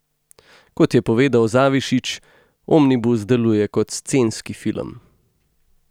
Kot je povedal Zavišić, omnibus deluje kot scenski film.